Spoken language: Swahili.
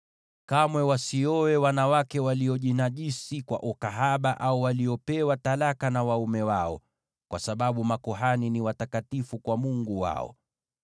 “ ‘Kamwe wasioe wanawake waliojinajisi kwa ukahaba, au waliopewa talaka na waume wao, kwa sababu makuhani ni watakatifu kwa Mungu wao.